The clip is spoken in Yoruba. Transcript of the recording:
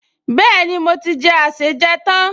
Bẹ́ẹ̀ni, mo ti jẹ àsèjẹ tán